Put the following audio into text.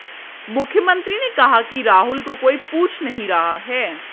मुख्यमंत्री ने कहा कि राहुल को कोई पूछ नहीं रहा है